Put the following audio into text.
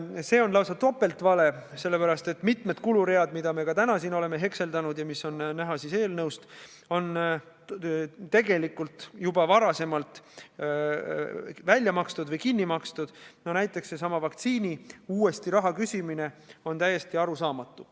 See on lausa topeltvale, sellepärast et mitu kulurida, mida me ka täna siin oleme hekseldanud ja mis on näha eelnõus, on tegelikult juba varasemalt välja makstud või kinni makstud, näiteks seesama vaktsiiniraha uuesti küsimine on täiesti arusaamatu.